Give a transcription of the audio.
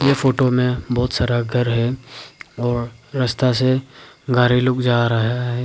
ये फोटो में बहुत सारा घर है और रस्ता से गारी लोग जा रहा है।